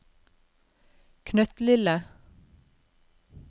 knøttlille